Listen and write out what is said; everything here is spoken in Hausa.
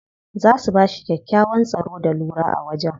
Za su bashi kyakkyawan tsaro da lura a wajen.